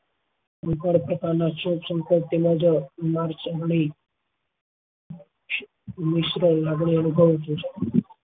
એ પણ પોતાના માર અનુભવ